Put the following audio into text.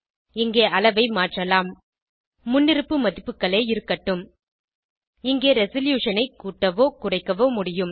இங்கே அளவை மாற்றலாம் முன்னிருப்பு மதிப்புகளே இருக்கட்டும் இங்கே ரெசல்யூஷன் ஐ கூட்டவோ குறைக்கவோ முடியும்